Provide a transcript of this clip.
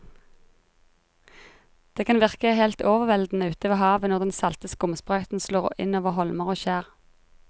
Det kan virke helt overveldende ute ved havet når den salte skumsprøyten slår innover holmer og skjær.